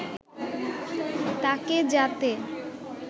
তাকে যাতে